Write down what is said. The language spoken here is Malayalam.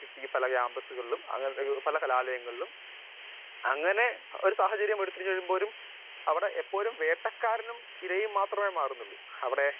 സ്പീക്കർ 1 ഈ കാമ്പസുകളിലും പല കലാലയങ്ങളിലും അങ്ങനെ ഒരു സാഹചര്യം വരുമ്പോഴും ഒരു വേട്ടക്കാരനും ഇരയും മാറുന്നുള്ളു